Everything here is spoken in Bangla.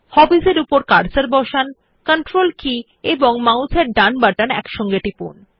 হবিস এর উপর কার্সার বসান কন্ট্রোল কী এবং মাউস এর ডান বাটন একসাথে টিপুন